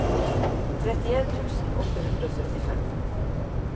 trettien tusen åtte hundre og syttifem